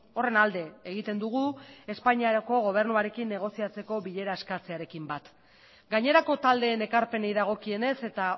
horren alde egiten dugu espainiako gobernuarekin negoziatzeko bilera eskatzearekin bat gainerako taldeen ekarpenei dagokienez eta